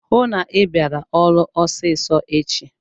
Hụụ na Ị bịara ọrụ ọsịsọ echi!